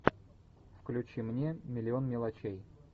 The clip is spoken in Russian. включи мне миллион мелочей